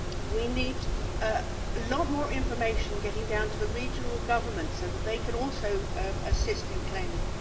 We need a lot more information getting down to the regional governments so that they can also assist in claiming.